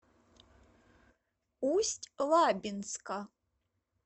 усть лабинска